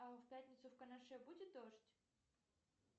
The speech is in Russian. а в пятницу в канаше будет дождь